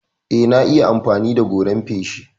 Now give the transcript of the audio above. Eh, na iya amfani da goran feshi.